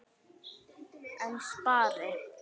En spari?